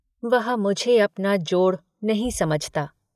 वह मुझे अपना जोड़ नहीं समझता।